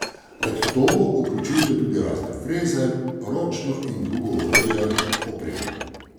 Med to vključujte tudi razne freze, ročno in drugo orodje, opremo.